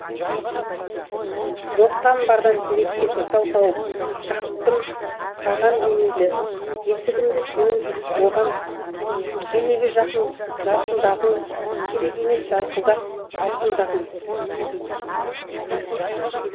жоқтан бардан себепке сылтау тауып жаптым саған демейді есігімді сенен оған керегі жарқындағың керек емес жарқылдық алтындығың